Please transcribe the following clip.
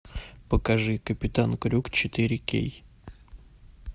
покажи капитан крюк четыре кей